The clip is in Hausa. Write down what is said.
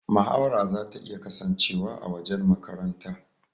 Mahawara zata iya kasancewa a wajen makaranta.